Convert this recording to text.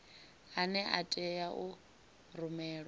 ane a tea u rumelwa